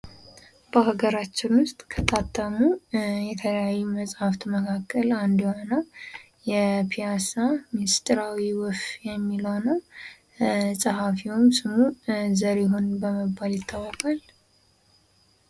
በሀገራችን ውስጥ ከታተሙ የተለያዩ መጽሐፍት መካከል አንዱ የሆነው የፒያሳ ሚስጥራዊ ወፍ የሚለው ነው ። ፀሐፊውም ስሙ ዘሪሁን በመባል ይታወቃል ።